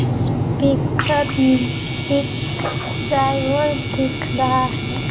इस पिक्चर में एक साइवर दिख रहा है ।